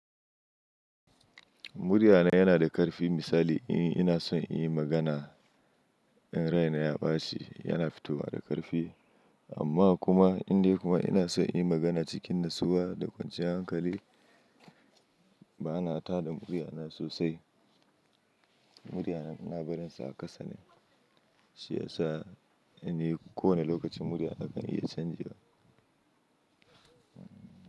Muriya na yana da ƙarfi misali in ina son in yi magana in raina ya ɓaci, yana fitowa da ƙarfi amma kuma inda kuma ina son in yi magana cikin nutsuwa da kwanciyar hankali bana tada muriya na sosai. Muriya na ina barinsa a ƙasa ne, shi yasa ni kowane lokaci muriya na kan iya canjewa.